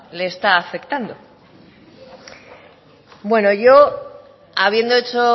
le está afectando bueno yo habiendo hecho